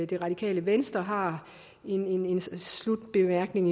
det radikale venstre har en slutbemærkning